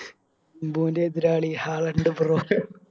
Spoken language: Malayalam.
എംബുൻറെ എതിരാളി ഹാലാൻഡ് ബ്രോട്ട്